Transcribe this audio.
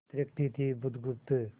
थिरकती थी बुधगुप्त